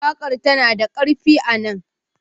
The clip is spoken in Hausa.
Waƙar tana da ƙarfi a nan.